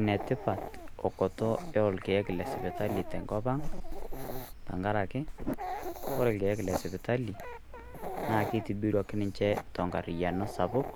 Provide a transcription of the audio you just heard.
Enetipat okoto o lkeek te nkopang tang'araki kore lkeek le sipitali naa keituburuaki ninchee te nkariano sapuk.